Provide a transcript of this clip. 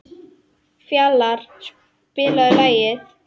Fjalarr, spilaðu lag.